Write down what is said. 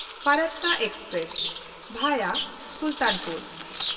Farakka express (via Sultanpur)